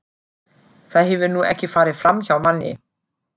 Það hefur nú ekki farið framhjá manni.